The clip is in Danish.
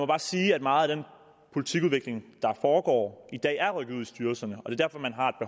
bare sige at meget af den politikudvikling der foregår i dag er rykket ud i styrelserne